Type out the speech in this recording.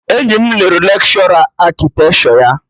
Enyi m lụrụ lekshọra akịtekshọ ya